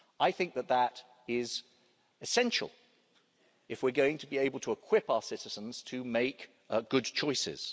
I think that is essential, if we're going to be able to equip our citizens to make good choices.